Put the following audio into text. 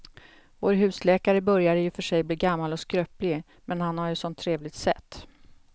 Vår husläkare börjar i och för sig bli gammal och skröplig, men han har ju ett sådant trevligt sätt!